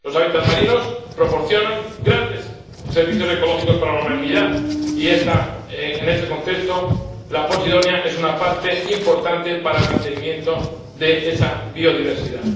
Los hábitat marinos proporcionan grandes servicios ecológicos para la humanidad y, en este contexto, la posidonia es una parte importante para el mantenimiento de esa biodiversidad.